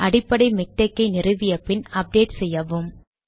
அடிப்படை மிக்டெக் ஐ நிறுவிய பின் அப்டேட் செய்யவும்